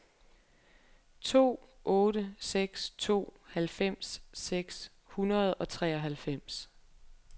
to otte seks to halvfems seks hundrede og treoghalvfems